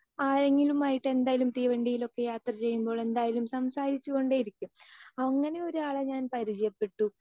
speaker 2 ആരെങ്കിലുമായിട്ട് എന്തായാലും തീവണ്ടിയിലൊക്കെ യാത്രചെയ്യുമ്പോൾ എന്തായാലും സംസാരിച്ചുകൊണ്ടേയിരിക്കും അങ്ങനെ ഒരാളെ ഞാൻ പരിചയപ്പെട്ടു